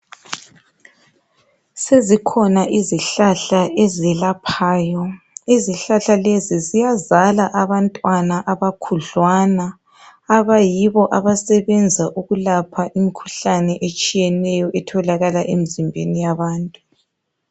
Sezikhona izihlahla ezelaphayo izihlahla lezi ziyazala abantwana abakhudlwana, abayibo abasebenza ukulapha imikhuhlane etshiyeneyo etholakala emzimbeni yabantu.